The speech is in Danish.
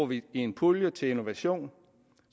vi i en pulje til innovation